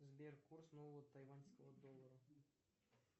сбер курс нового тайваньского доллара